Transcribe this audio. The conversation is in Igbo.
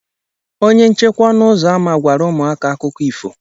Onye nchekwa ọnụ ụzọ ámá gwara ụmụaka akụkọ ifo.